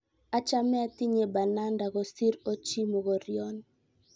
achame atinye bananda kosir ochii mokorion